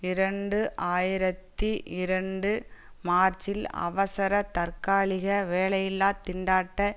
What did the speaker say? இரண்டு ஆயிரத்தி இரண்டு மார்ச்சில் அவசர தற்காலிக வேலையில்லா திண்டாட்ட